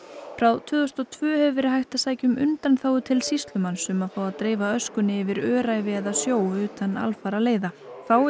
frá tvö þúsund og tvö hefur verið hægt að sækja um undanþágu til sýslumanns um að fá að dreifa öskunni yfir öræfi eða sjó utan alfaraleiða fáist